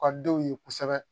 U ka denw ye kosɛbɛ